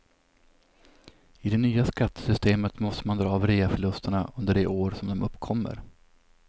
I det nya skattesystemet måste man dra av reaförlusterna under det år som de uppkommer.